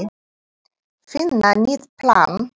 Finna nýtt plan.